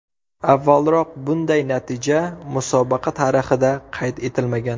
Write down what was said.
Avvalroq bunday natija musobaqa tarixida qayd etilmagan.